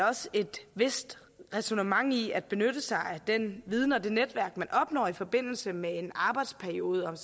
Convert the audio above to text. også et vist ræsonnement i at benytte sig af den viden og det netværk man opnår i forbindelse med en arbejdsperiode